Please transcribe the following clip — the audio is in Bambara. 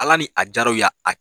Ala ni a jaraw y' aa.